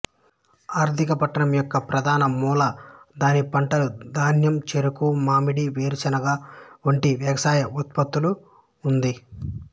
ఆర్థిక పట్టణం యొక్క ప్రధాన మూల దాని పంటలు ధాన్యం చెరుకు మామిడి వేరుశెనగ వంటి వ్యవసాయ ఉత్పత్తులు ఉంది